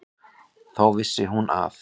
Þá vissi hún að